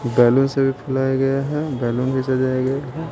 Balloon से भी फुलाया गया है बैलून भी सजाया गया है।